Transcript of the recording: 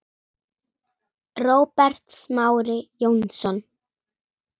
Róbert Smári Jónsson